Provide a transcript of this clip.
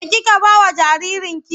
Me kike ba wa jaririnki?